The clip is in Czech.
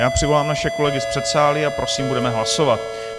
Já přivolám naše kolegy z předsálí a prosím, budeme hlasovat.